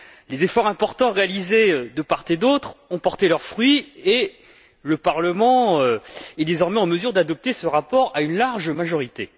Les efforts importants réalisés, de part et d'autre, ont porté leurs fruits et le Parlement est, désormais, en mesure d'adopter ce rapport à une large majorité.